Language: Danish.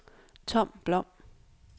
Tom Blom